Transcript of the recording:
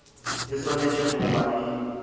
e swanetše go ba e